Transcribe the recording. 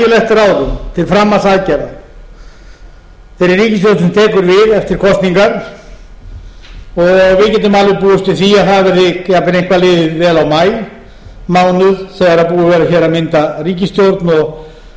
eftir kosningar við getum alveg búist við því að það verði jafnvel eitthvað liðið vel á maímánuð þegar búið verður hér að mynda ríkisstjórn og hún